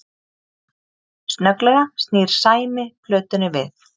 Snögglega snýr Sæmi plötunni við